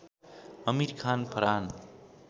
Aamir Khan Farhan